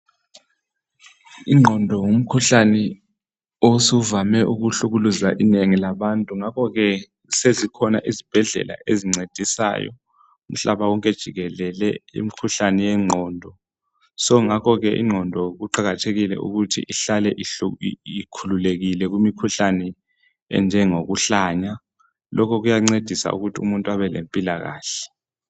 Ingqondo ngumkhuhlane osuvame ukuhlukuluza inengi labantu ngakho ke sezikhona izibhedlela ezincedisayo umhlaba wonke jikelele imkhuhlane yengqondo. So ngakho ke ingqondo kuqakathekile ukuthi ihlale ikhululekile kumikhuhlane enjengokuhlanya lokho kuyancedisa ukuthi umuntu abelempilakahle.